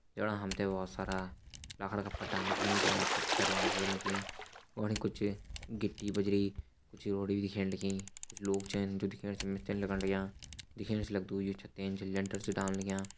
जणा हम तैं बहोत सारा लकड़ा का पट्टान दिखेण लग्यां कुछ सरिया दिखेण लगीं और कुछ गिट्टी बजरी कुछ रोड़ी दिखेण लगीं कुछ लोग छन जू दिखेण से मिस्त्री लगण लग्यां दिखेण से लगदु यी लैंटर छन डालण लग्यां।